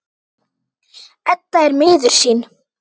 Edda er miður sín.